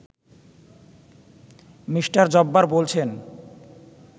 me: Jabbar বলছেন